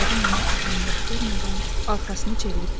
qadın ona əhəmiyyət vermədən arxasını çevirib getdi.